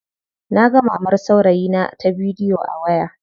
Naga mamar saurayina ta bidiyo a waya.